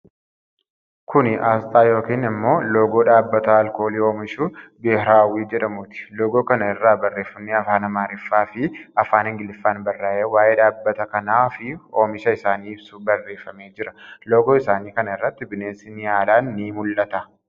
Kuni Asxaa yookiin ammoo loogoo dhaabbata alkoolii oomishu biheeraawwii jedhamuuti. Loogoo kana irraa barreeffami Afaan Amaariffaa fi Afaan Ingiliffaan barraa'ee waa'ee dhaabbata kanaa fi oomisha isaanii ibsu barreefamee jira. Loogoo isaanii kana irratti bineensi Niyaalaan ni mul'ata.